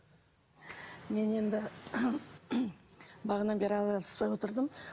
мен енді бағанадан бері араласпай отырдым